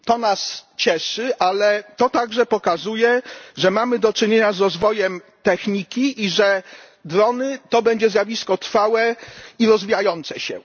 To nas cieszy, ale to także pokazuje, że mamy do czynienia z rozwojem techniki i że drony to będzie zjawisko trwałe i rozwijające się.